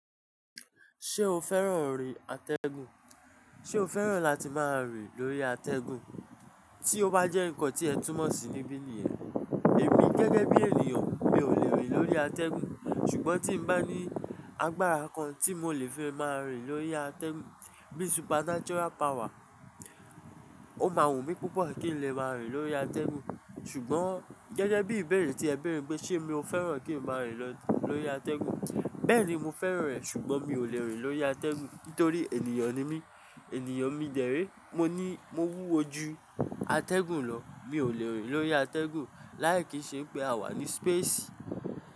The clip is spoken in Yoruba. Ṣé o fẹ́ràn rí atẹ́gùn? Ṣé o fẹ́ràn láti máa rí lórí atẹ́gùn? Tí ó bá jẹ́ nǹkan tí ẹ túmọ̀ sí níbí nìyẹn. Èmi gẹ́gẹ́ bí ènìyàn mi ò lè rí lórí atẹ́gùn. Ṣùgbọ́n tí mo bá ní agbára kan tí mo lè fi máa rí lórí atẹ́gùn bí supernatural power, ó máa wù mí púpọ̀ kí n lè máa rí lórí atẹ́gùn. Ṣùgbọ́n gẹ́gẹ́ bí ìbéèrè tí ẹ béèrè pé ṣe mi ò fẹ́ràn kí n máa rí lọ́ lórí atẹ́gùn. Bẹ́ẹ̀ni mo fẹ́ràn rẹ̀ ṣùgbọ́n mi ò lè rí lórí atẹ́gùn nítorí ènìyàn ni mí. Ẹ̀níyàn mi dẹ̀ré, mo ní mo wúwo ju atẹ́gùn lọ. Mi ò lè rí lórí atẹ́gùn láì kì í ṣe pé a wà ní space.